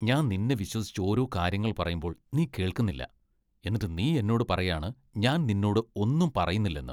ഞാൻ നിന്നെ വിശ്വസിച്ച് ഓരോ കാര്യങ്ങൾ പറയുമ്പോൾ നീ കേൾക്കുന്നില്ല, എന്നിട്ട് നീ എന്നോട് പറയാണ് ഞാൻ നിന്നോട് ഒന്നും പറയുന്നില്ലെന്ന്.